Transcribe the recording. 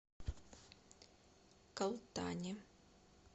калтане